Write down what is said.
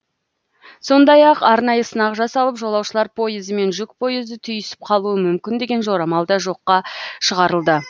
сондай ақ арнайы сынақ жасалып жолаушылар пойызы мен жүк пойызы түйісіп қалуы мүмкін деген жорамал да жоққа шығарылды